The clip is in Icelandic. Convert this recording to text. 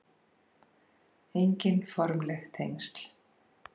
Engin formleg tengsl